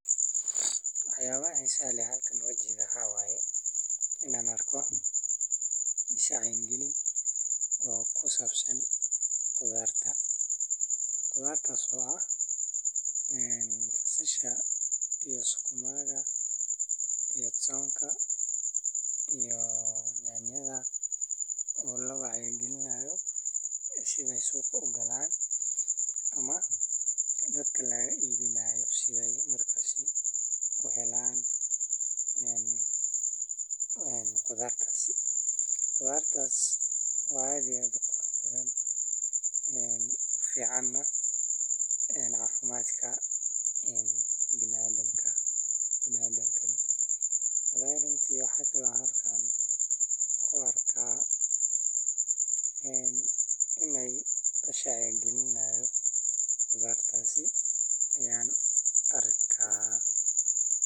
Dadka iibsada miraha iyo khudaarta suuqa waa in ay doortaan kuwo cusub, healthier diets nadiif ah, kana fogaadaan kuwa duugoobay ama wasakhaysan. Nafaqada laga helo miraha iyo khudaarta suuqyada waa qayb muhiim ah oo lagu dhiso caafimaad qoyska iyo bulshada. Intaa waxaa dheer, suuqyada khudaarta waxay sidoo kale fursad u yihiin dakhli abuur iyo shaqo-siinta beeraleyda iyo ganacsatada yar-yar.